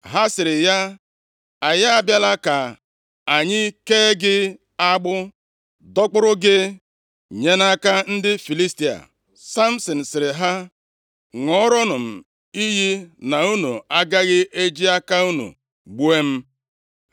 Ha sịrị ya, “Anyị abịala ka anyị kee gị agbụ, dọkpụrụ gị, nye nʼaka ndị Filistia.” Samsin sịrị ha, “Ṅụọrọnụ m iyi na unu agaghị eji aka unu gbuo m.”